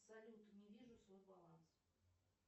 салют не вижу свой баланс